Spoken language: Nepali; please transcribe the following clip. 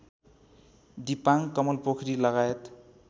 दिपाङ कमलपोखरी लगायत